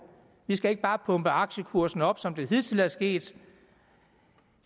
vi skal ikke bare pumpe aktiekursen op som det hidtil er sket